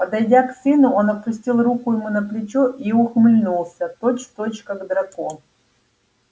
подойдя к сыну он опустил руку ему на плечо и ухмыльнулся точь-в-точь как драко